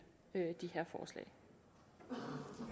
det